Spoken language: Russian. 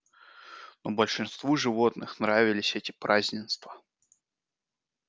но большинству животных нравились эти празднества